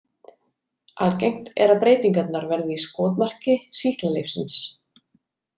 Algengt er að breytingarnar verði í skotmarki sýklalyfsins.